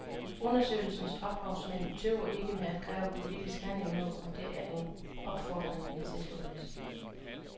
Undersøgelsens ophavsmænd tøver ikke med at kræve politisk handling nu, og det er en opfordring vi tilslutter os.